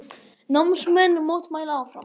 Námsmenn mótmæla áfram